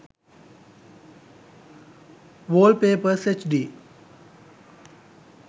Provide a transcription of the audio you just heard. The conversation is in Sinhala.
wallpapers hd